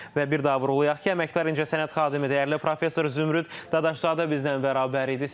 Və bir daha vurğulayaq ki, əməkdar incəsənət xadimi, dəyərli professor Zümrüd Dadaşzadə bizimlə bərabər idi.